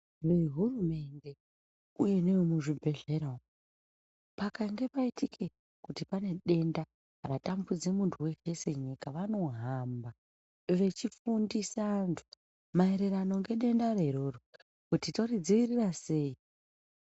Nehurumende uye nevemuzvibhedhlera umu pakange paitike kuti pane denda ratambudze munthu weshe senyika vanohamba vechifundisa vanthu maererano ngedendaro iroro kuti toridziirira sei.